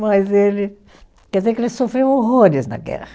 Mas ele, quer dizer que ele sofreu horrores na guerra.